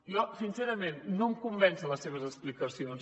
jo sincerament no em convencen les seves explicacions